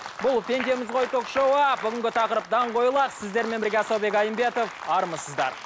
бұл пендеміз ғой ток шоуы бүгінгі тақырып даңқойлар сіздермен бірге асаубек айымбетов армысыздар